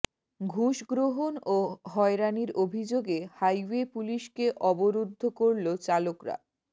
ঘুষগ্রহণ ও হয়রানির অভিযোগে হাইওয়ে পুলিশকে অবরুদ্ধ করলো চালকরা